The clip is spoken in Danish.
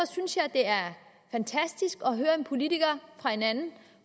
synes jeg det er fantastisk at høre en politiker fra en anden